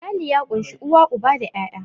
Iyali ya ƙunshi uwa, uba da 'ya'ya.